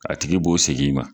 A tigi b'o segin i ma